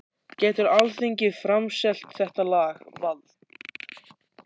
Getur Alþingi framselt þetta lag, vald?